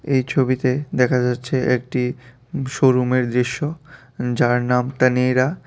এই ছবিতে দেখা যাচ্ছে একটি শোরুমের দৃশ্য যার নাম তানীরা।